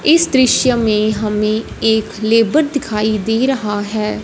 इस दृश्य में हमें एक लेबर दिखाई दे रहा है।